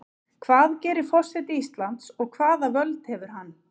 Hvað gerir forseti Íslands og hvaða völd hefur hann?